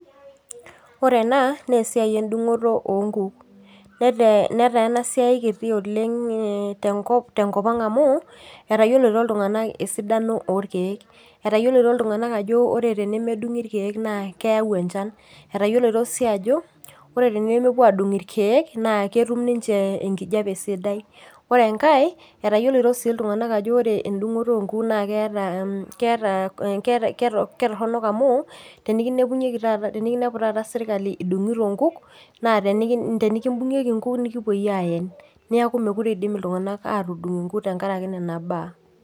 Ore ena naa esiai endungoto oonkuk nataa ena siai kiti tenkopang' amu etayioloito iltunganak esidano orkeek, etayioloito iltunganak ajo tenemedungi ilkeek naa keeu enjan. Atayioloito sii ajo tenemepuo aadungu ilkeek naa kitum ninje enkijape sidai. Ore engae etayioloito sii iltunganak aajo ore endungoto oonkuk naa ketoronok amu tenikinepu taata sirkali idungito inguk naa tenikibungieku inguk nikipoi aayen. Neeku meekure iidim iltunganak atudung inguk tengaraki nena baa.